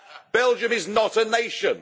Belgium is not a nation.